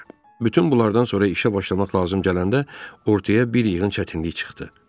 Bütün bunlardan sonra işə başlamaq lazım gələndə ortaya bir yığın çətinlik çıxdı.